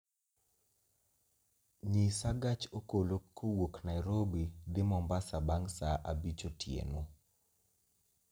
nyisa gach okolo kowuok nairobi dhi mombasa bang' saa abich otieno